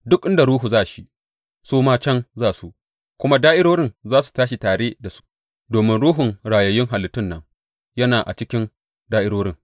Duk inda ruhu za shi, su ma can za su, kuma da’irorin za su tashi tare da su, domin ruhun rayayyun halittun nan yana a cikin da’irorin.